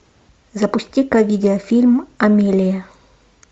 запусти ка видеофильм амелия